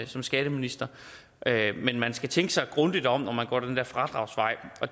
som skatteminister men man skal tænke sig grundigt om når man går den der fradragsvej